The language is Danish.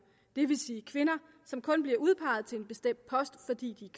det vil sige kvinder som kun bliver udpeget til en bestemt post fordi de